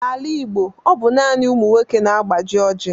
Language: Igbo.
N'ala Igbo, ọ bụ naanị ụmụ nwoke na-agbaji Oji.